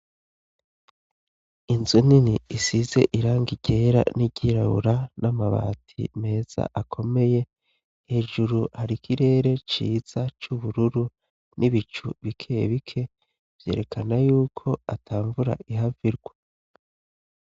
Inzu nini isize irangi ryera n'iryirabura, n'amabati meza akomeye, hejuru har'ikirere ciza c'ubururu n'ibicu bikeye bike ,vyerekana yuko atamvura ihav'irwa.